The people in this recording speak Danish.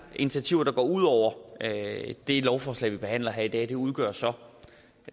initiativer der går ud over det lovforslag vi behandler her i dag og de udgør så